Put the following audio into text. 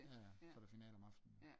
Jaja så er der finale om aftenen